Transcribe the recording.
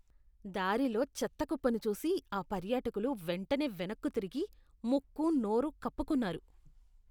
దారిలో చెత్త కుప్పను చూసి ఆ పర్యాటకులు వెంటనే వెనక్కు తిరిగి ముక్కు, నోరు కప్పుకున్నారు.